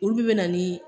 Olu bɛ na ni